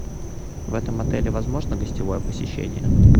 в этом отеле возможно гостевое посещение